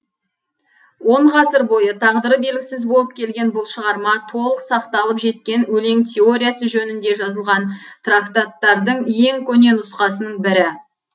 он ғасыр бойы тағдыры белгісіз болып келген бұл шығарма толық сақталып жеткен өлең теориясы жөнінде жазылған трактаттардың ең көне нұсқасының бірі